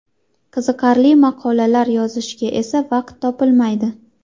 Qiziqarli maqolalar yozishga esa vaqt topilmaydi.